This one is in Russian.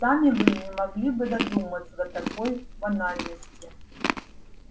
сами вы не могли бы додуматься до такой банальности